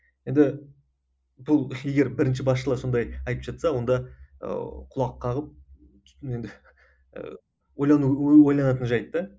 енді бұл егер бірінші басшылар сондай айтып жатса онда ыыы құлақ қағып енді ойлану ойланатын жайт та